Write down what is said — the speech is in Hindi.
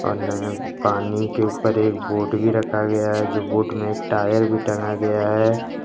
और नहर पानी के ऊप्पर एक बोट भी रखा गया है जो बोट में एक टायर भी टांगा गया है।